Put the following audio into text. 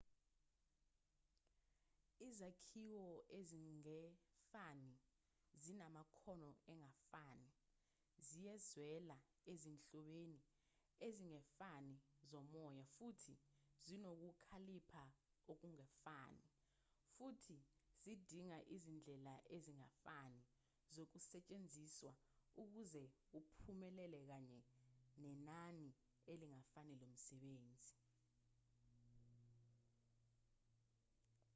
izakhiwo ezingefani zinamakhono angefani ziyezwela ezinhlobeni ezingefani zomoya futhi zinokukhalipha okungefani futhi zidinga izindlela ezingefani zokusetshenziswa ukuze kuphumelele kanye nenani elingefani lomsebenzi